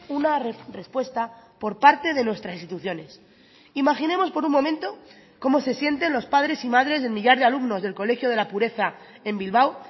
una respuesta por parte de nuestras instituciones imaginemos por un momento cómo se sienten los padres y madres del millar de alumnos del colegio de la pureza en bilbao